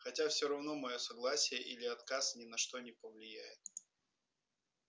хотя всё равно моё согласие или отказ ни на что не повлияет